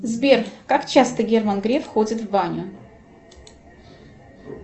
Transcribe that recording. сбер как часто герман греф ходит в баню